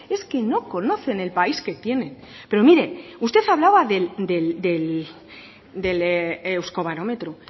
es que no conocen el país que tienen pero mire usted hablaba del euskobarómetro